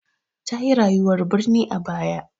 Ta yi rayuwar birni a baya.